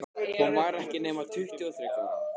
Hún var ekki nema tuttugu og þriggja ára.